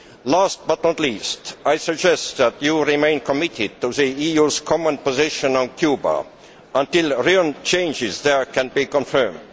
Last but not least, I suggest that you remain committed to the EU's common position on Cuba until real changes there can be confirmed.